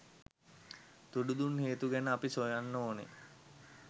තුඩු දුන් හේතු ගැන අපි සොයන්න ඕන.